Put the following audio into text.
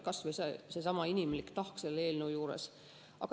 Nii et see on kas või see inimlik tahk selle eelnõu juures.